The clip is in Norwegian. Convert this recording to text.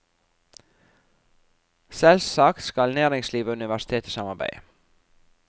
Selvsagt skal næringsliv og universitet samarbeide.